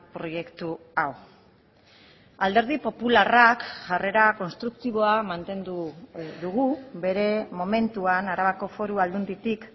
proiektu hau alderdi popularrak jarrera konstruktiboa mantendu dugu bere momentuan arabako foru aldunditik